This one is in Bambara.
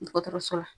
Dɔgɔtɔrɔso la